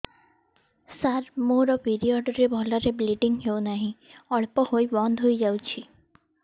ସାର ମୋର ପିରିଅଡ଼ ରେ ଭଲରେ ବ୍ଲିଡ଼ିଙ୍ଗ ହଉନାହିଁ ଅଳ୍ପ ହୋଇ ବନ୍ଦ ହୋଇଯାଉଛି